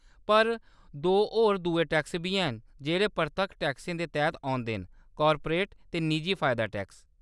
पर दो होर दुए टैक्स बी हैन जेह्‌‌ड़े परतक्ख टैक्सें दे तैह्‌त औंदे न ; कार्पोरेट ते निजी फायदा टैक्स।